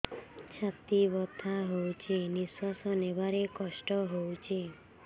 ଛାତି ବଥା ହଉଚି ନିଶ୍ୱାସ ନେବାରେ କଷ୍ଟ ହଉଚି